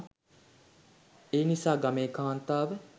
එනිසා ගමේ කාන්තාව